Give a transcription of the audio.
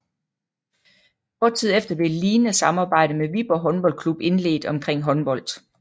Kort tid efter blev et lignede samarbejde med Viborg Håndboldklub indledt omkring håndbold